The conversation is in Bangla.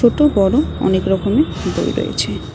ছোট বড় অনেক রকমের বই রয়েছে।